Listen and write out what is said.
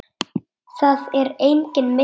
Það er enginn milli